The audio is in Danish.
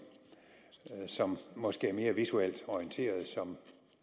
som måske er mere visuelt orienteret